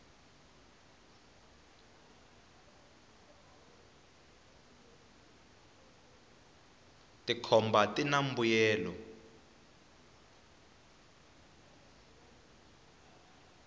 tikhomba tina mbuyelo